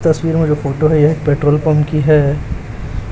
तस्वीर में जो फोटो है यह एक पेट्रोल पंप की है।